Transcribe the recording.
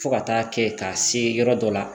Fo ka taa kɛ ka se yɔrɔ dɔ la